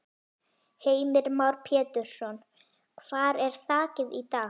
Heimir Már Pétursson: Hvar er þakið í dag?